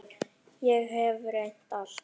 Ég hef reynt allt.